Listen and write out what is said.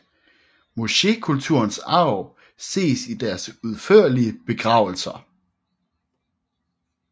Mochekulturens arv ses i deres udførlige begravelser